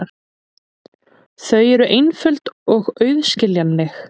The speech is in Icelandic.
Þau eru einföld og auðskiljanleg.